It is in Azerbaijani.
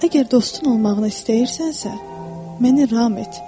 Əgər dostun olmağını istəyirsənsə, məni ram et.